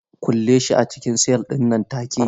Kulle shi a cikin sel nan take!